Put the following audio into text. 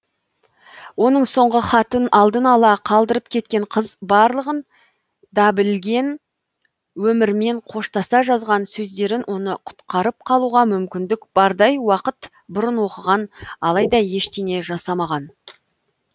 оның соңғы хатын алдын ала қалдырып кеткен қыз барлығын да білген өмірмен қоштаса жазған сөздерін оны құтқарып қалуға мүмкіндік бардай уақыт бұрын оқыған алайда ештеңе жасамаған